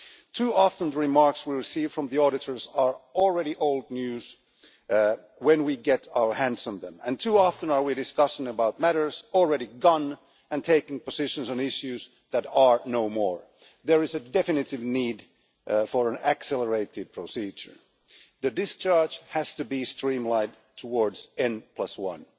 Too often, the remarks we receive from the auditors are already old news by the time we get our hands on them, and too often we are discussing matters that are already gone, and taking positions on issues that are no more. There is a definite need for an accelerated procedure. The discharge has to be streamlined towards n1,